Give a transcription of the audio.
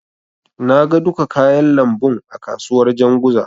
Na ga duka kayan lambun a kasuwar Janzuga.